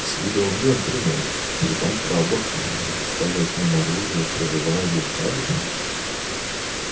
с виду он джентльмен и притом храбр доставлять нам оружие прорывая блокаду